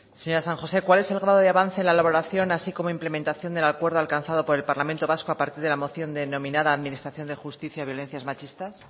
señora san josé cuál es el grado de avance en la elaboración así como implementación del acuerdo alcanzado por el parlamento vasco a partir de la moción denominada administración de justicia violencias machistas